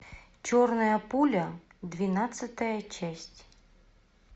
черная пуля двенадцатая часть